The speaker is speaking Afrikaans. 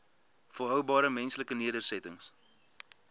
volhoubare menslike nedersettings